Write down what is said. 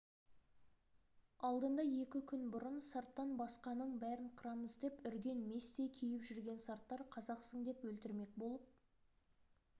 енді большевиктер жеңген соң хан көтеретін ергештері қашып кетіп солған сарттар жөн сілтеп жол көрсетуге кежірлік қылып тағы